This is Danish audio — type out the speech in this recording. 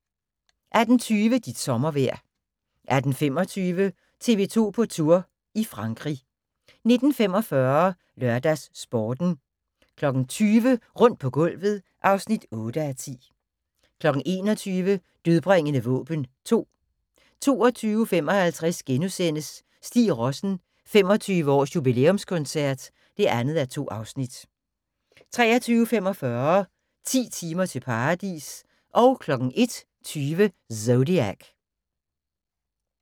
18:20: Dit sommervejr 18:25: TV 2 på Tour – i Frankrig 19:45: LørdagsSporten 20:00: Rundt på gulvet (8:10) 21:00: Dødbringende våben 2 22:55: Stig Rossen: 25-års-jubilæumskoncert (2:2)* 23:45: 10 timer til paradis 01:20: Zodiac